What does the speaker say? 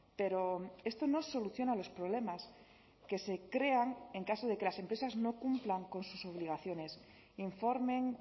pero esto no soluciona los problemas que se crean en caso de que las empresas no cumplan con sus obligaciones informen